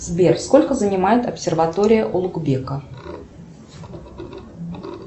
сбер сколько занимает обсерватория улугбека